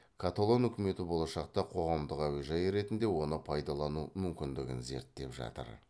каталон үкімет болашақта қоғамдық әуежай ретінде оны пайдалану мүмкіндігін зерттеп жатыр